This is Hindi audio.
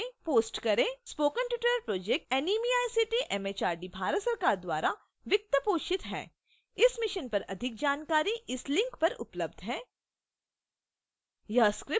spoken tutorial project NMEICT MHRD Bharat सरकार द्वारा वित्त पोषित है इस mission पर अधिक जानकारी इस link पर उपलब्ध है